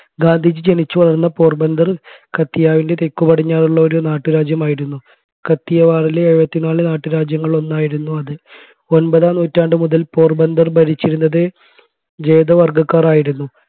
ഗാന്ധിജി ജനിച്ചു വളർന്ന പോർബന്ധർ കത്തിയാവിൻറെ തെക്കു പടിഞ്ഞാറുള്ള ഒരു നാട്ടുരാജ്യം ആയിരുന്നു കത്തിയവാറിലെ എഴുപതിനാല് നാട്ടുരാജ്യങ്ങളിൽ ഒന്നായിരുന്നു അത്. ഒമ്പതാം നൂറ്റാണ്ടു മുതൽ പോർബന്തർ ഭരിച്ചിരുന്നത് ജൂതവർഗക്കാരായിരുന്നു